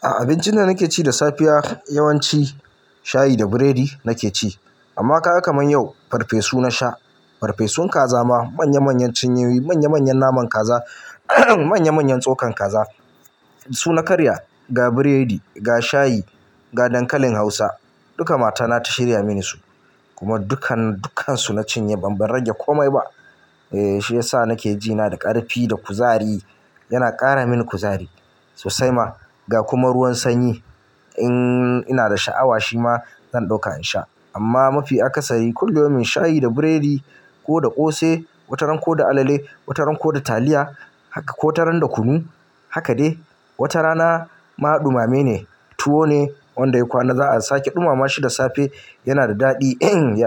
A abincin da nake ci da safiya yawanci shayi da buredi nake ci amma ka ga kamar yau farfesu na sha, farfesun kaza ma manya manyan cinyoyi, manya manyan naman kaza manya manyan tsokan kaza su na karya ga buredi, ga shayi, ga dankalin hausa duka matana ta shirya mini su kuma dukkan, dukkansu na cinye ban rage komai ba. Eh shi yasa nake ji na da ƙarfi da kuzari yana ƙara mini kuzari sosai ma ga kuma ruwan sanyi in ina da sha'awa shi ma zan ɗauka in sha amma mafi akasari kullum shayi da buredi ko da ƙosai wataran ko da alale wataran ko da taliya haka ko wataran da kunu haka de wata rana ma ɗumame ne tuwo ne wanda yayi kwana za a sake ɗumama shi da safe yana da daɗi